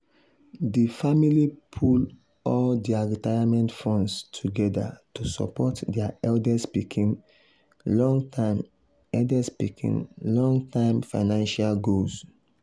di family pool all dia retirement funds together to support dia eldest pikin long-term eldest pikin long-term financial goals.